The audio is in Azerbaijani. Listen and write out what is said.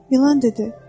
İlan dedi: